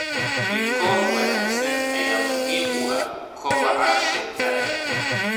Rikoor wanaagsan ayaa muhiim u ah kobaca shirkadda.